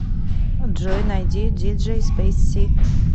джой найди диджей спейс си